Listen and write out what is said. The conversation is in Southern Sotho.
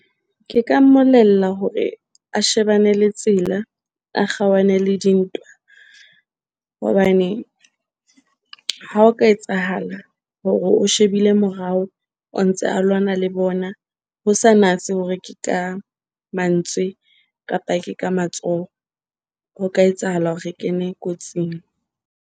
Ke ka mmolella hore a shebane le tsela, a kgaohane le dintwa. Hobane ha o ka etsahala hore o shebile morao, o ntse a lwana le bona ho sa natse hore ke ka mantswe kapa ke ka matsoho. Ho ka etsahala hore re kene kotsing.